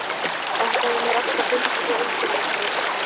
Þetta hefur mér alltaf fundist svo einkennilegt, Rósa.